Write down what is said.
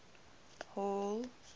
hall